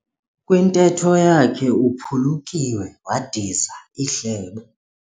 Kwintetho yakhe uphulukiwe wadiza ihlebo.